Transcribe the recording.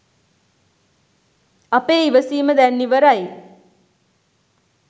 අපේ ඉවසීම දැන් ඉවරයි